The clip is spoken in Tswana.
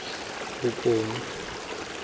bokone